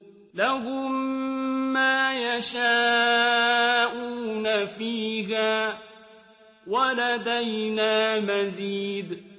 لَهُم مَّا يَشَاءُونَ فِيهَا وَلَدَيْنَا مَزِيدٌ